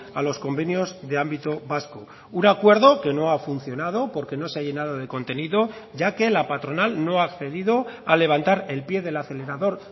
a los convenios de ámbito vasco un acuerdo que no ha funcionado porque no se ha llenado de contenido ya que la patronal no ha accedido a levantar el pie del acelerador